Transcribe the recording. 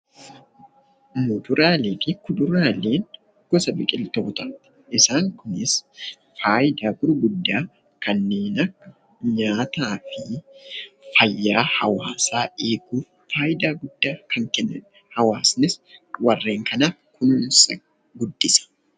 Kuduraalee fi muduraaleen gosa biqiltootaati; isaan kunis faayidaa gurgurddaa kanneen akka nyaataa fi fayyaa hawaasaa eeguuf faayidaa guddaa kan kennanidha. Hawaasnis warreen kana kunuunsee guddisa.